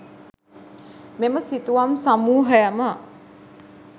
මෙම සිතුවම් සමූහයම